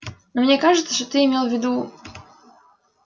но мне кажется что ты имел в виду